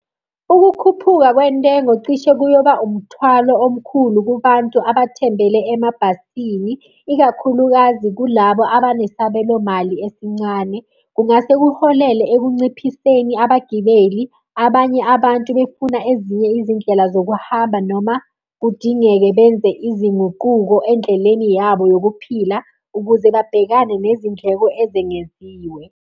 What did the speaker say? Ukukhuphuka kwentengo cishe kuyoba umthwalo omkhulu kubantu abathembele emabhasini, ikakhulukazi kulabo abanesabelo mali esincane. Kungase kuholele ekunciphiseni abagibeli, abanye abantu befuna ezinye izindlela zokuhamba noma kudingeke benze izinguquko endleleni yabo yokuphila, ukuze babhekane nezindleko ezengeziwe.